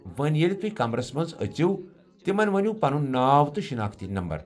وۄنہِ ، ییٚلہ تۄہہِ کمرس منٛز أژِو تِمن ؤنِو پنٗن ناو تہٕ شناختی نمبر۔